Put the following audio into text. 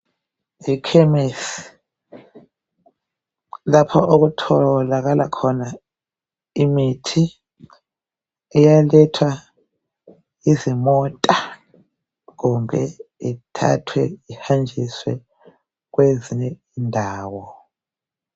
Ekhemesi lapho okutholakala khona imithi elethwa yizimota kumbe ithathwe ihanjiswe kwezinye indawo.